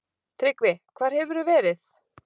TRYGGVI: Hvar hefurðu verið?